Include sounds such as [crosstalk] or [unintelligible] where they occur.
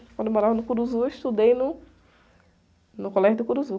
Quando eu morava no, [unintelligible] eu estudei no, no colégio do. [unintelligible]